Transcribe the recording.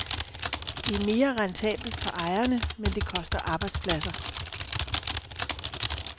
Det er mere rentabelt for ejerne, men det koster arbejdspladser.